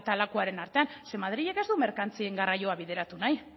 lakuaren artean ze madrilek ez du merkantzien garraioa bideratu nahi